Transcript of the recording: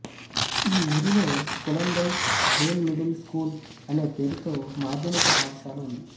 ఈ ఊరిలో Kulandai Vel middle school అనే పేరుతో మాద్యమిక పాఠశాల ఉంది